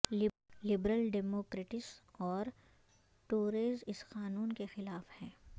liberal democrats اور Tories اس قانون کے خلاف ہیں